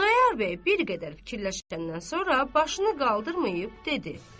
Xudayar bəy bir qədər fikirləşəndən sonra başını qaldırmayıb dedi.